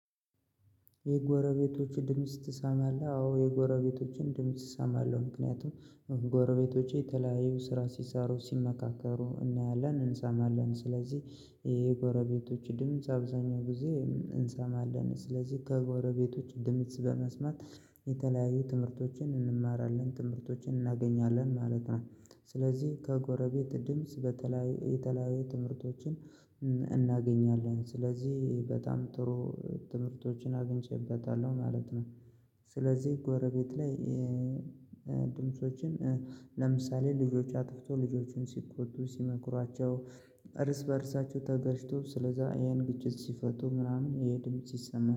የጎረቤቶች ድምጽ ትሰማለህ? አዎ የጎረቤቶችን ድምጽ እሰማለሁ ምክንያቱም ጎረቤቶቼ የተለያዩ ስራ ሲሰሩ ሲመካከሩ እናያለን እንሰማለን ስለዚህ ይሄ ጎረቤቶች ድምጽ አብዛኛው ጊዜ እንሰማለን ስለዚህ ከጎረቤቶች ድምጽ በመስማት የተለያዩ ትምህርቶችን እንማራለን ትምህርቶችን እናገኛለን ማለት ነው ስለዚህ ከጎረቤት ድምጽ በተለያዩ የተለያየ ትምህርቶችን እናገኛለን ስለዚህ በጣም ጥሩ ትምህርቶችን አግኝቼበታለሁ ማለት ነው ስለዚህ ጎረቤት ላይ ድምፆችን ለምሳሌ ልጆች አጥፍቶ ልጆቹን ሲቆጡ ሲመክሯቸው እርስ በእርሳቸው ተጋጭተው ስለዛ ይሄን ግጭት ሲፈቱ ምናምን ይሀ ድምጽ ይሰማል።